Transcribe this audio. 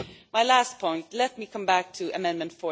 My last point let me come back to Amendment